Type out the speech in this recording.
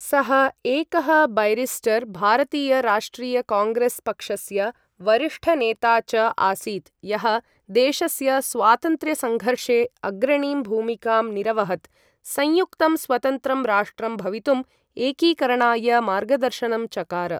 सः एकः बैरिस्टर्, भारतीय राष्ट्रिय काङ्ग्रेस् पक्षस्य वरिष्ठनेता च आसीत्, यः देशस्य स्वातन्त्र्यसङ्घर्षे अग्रणीं भूमिकां निरवहत्, संयुक्तं स्वतन्त्रं राष्ट्रं भवितुं एकीकरणाय मार्गदर्शनं चकार।